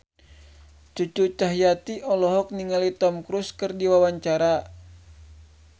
Cucu Cahyati olohok ningali Tom Cruise keur diwawancara